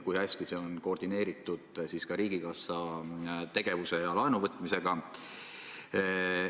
Kui hästi on see koordineeritud ka riigikassa tegevuse ja laenuvõtmisega?